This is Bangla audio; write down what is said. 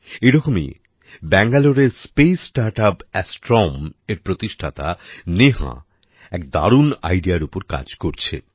এরকমই ব্যাঙ্গালোরের স্পেস স্টার্টআপ Astromeএর প্রতিষ্ঠাতা নেহা এক দারুন ideaর উপর কাজ করছে